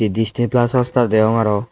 Disney plas hotstar degong aro.